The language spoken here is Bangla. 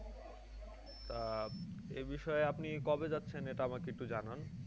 তা এ বিষয়ে আপনি কবে যাচ্ছেন? এটা আমাকে একটু জানান?